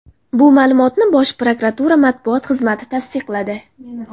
Bu ma’lumotni Bosh prokuratura matbuot xizmati tasdiqladi.